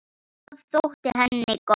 Það þótti henni gott.